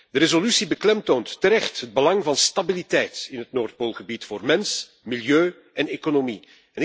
De resolutie beklemtoont terecht het belang van stabiliteit in het Noordpoolgebied voor mens, milieu en economie.